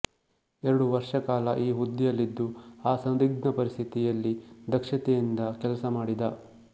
ಎರಡು ವರ್ಷಕಾಲ ಈ ಹುದ್ದೆಯಲ್ಲಿದ್ದು ಆ ಸಂದಿಗ್ಧ ಪರಿಸ್ಥಿತಿಯಲ್ಲಿ ದಕ್ಷತೆಯಿಂದ ಕೆಲಸಮಾಡಿದ